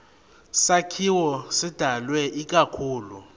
sakhiwo sidalwe ikakhulu